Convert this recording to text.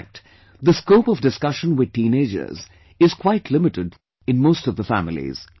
In fact, the scope of discussion with teenagers is quite limited in most of the families